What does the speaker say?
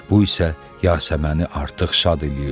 Bu isə Yasəməni artıq şad eləyirdi.